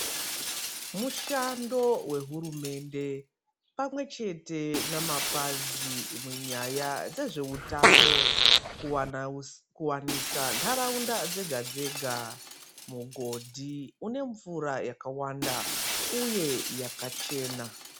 Mushando wehurumende pamwechete namapazi munyaya dzezveutano kuwana kwanisa ntaraunda dzega dzega mugondi unemvura yakawanda uye yakachena.